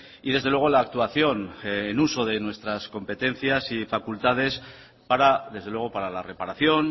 y desde luego la actuación el uso de nuestras competencias y facultades para desde luego para la reparación